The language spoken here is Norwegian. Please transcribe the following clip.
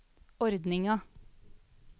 ordninga